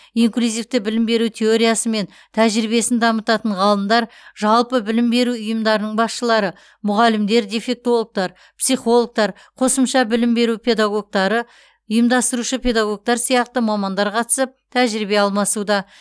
инклюзивті білім беру теориясы мен тәжірибесін дамытатын ғалымдар жалпы білім беру ұйымдарының басшылары мұғалімдер дефектологтар психологтар қосымша білім беру педагогтары ұйымдастырушы педагогтар сияқты мамандар қатысып тәжірибе алмасуда